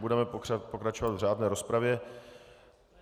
Budeme pokračovat v řádné rozpravě.